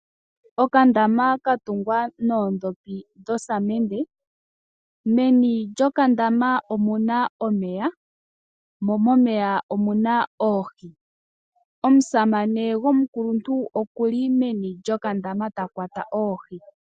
Okandama ka tungwa noondhopi dhosamende meni lyokandama omu na omeya mo momeya omu na oohi, omusamane gomukuluntu okuli meni lyokandama ta kwata oohi.